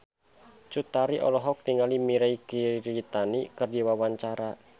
Cut Tari olohok ningali Mirei Kiritani keur diwawancara